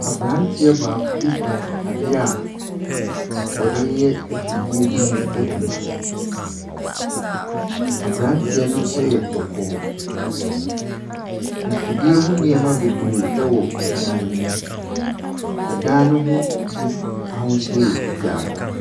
Abranteɛ baako bi kura ade a wɔde yɛ afidie bi ho adwuma. Abranteɛ no yɛ kɔkɔɔ. Mfidie ho nneɛma bebree wɔ dan no mu. Ɛdan no ho bi ahosuo yɛ fitaa.